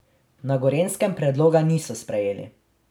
Na Gorenjskem predloga niso sprejeli.